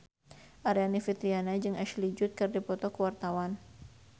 Aryani Fitriana jeung Ashley Judd keur dipoto ku wartawan